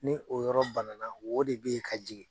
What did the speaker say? Ni o yɔrɔ bana na wo de bɛ ye ka jigin.